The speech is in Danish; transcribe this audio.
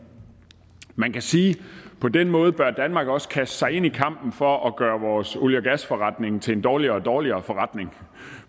man kan sige på den måde bør danmark også kaste sig ind i kampen for at gøre vores olie og gasforretning til en dårligere og dårligere forretning